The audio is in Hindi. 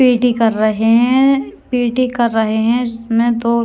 पी_टी कर रहे हैं पी_टी कर रहे हैं इसमें दो --